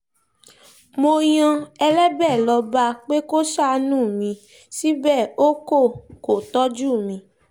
mo yan ẹlẹ́bẹ̀ lọ́ọ́ bá a pé kó ṣàánú mi síbẹ̀ o kò kó tọ́jú mi